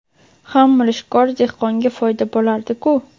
ham mirishkor dehqonga foyda bo‘lardiku.